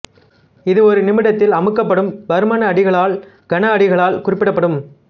இது ஒரு நிமிடத்தில் அமுக்கப்படும் பருமனடிகளால் கன அடிகளால் குறிப்பிடப்படும்